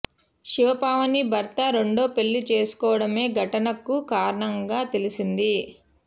శివ పావని భర్త రెండో పెళ్లి చేసుకోవడమే ఘటన కు కారణంగా తెలిసింది